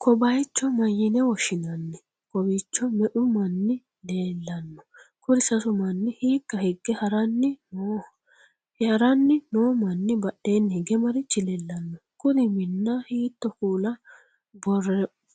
ko bayicho mayyine woshshinanni? kowiicho me'u manni leellanno? kuri sasu manni hiikka hige ha'ranni nooho? ha'ranni no manni badheenni hige marichi leellanno? kuri minna hiitto kuula